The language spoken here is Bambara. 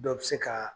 Dɔ bɛ se ka